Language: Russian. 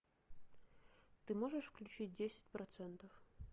ты можешь включить десять процентов